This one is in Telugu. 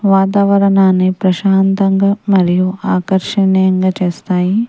వాతావరణాన్ని ప్రశాంతంగా మరియు ఆకర్షణీయంగా చేస్తాయి.